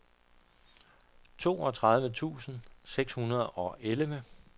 toogtredive tusind seks hundrede og elleve